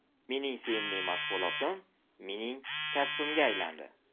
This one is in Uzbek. Mening sevimli mashg‘ulotim mening kasbimga aylandi.